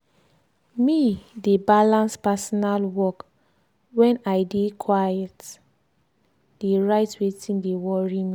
me de balans personal work wen i dey quite dey write wetin de worry me.